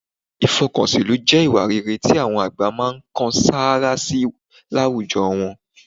Ìfọkànsìnlú jẹ́ ìwà rere tí àwọn àgbà máa ń kan sáárá sí láwùjọ wọn